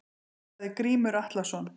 Sagði Grímur Atlason.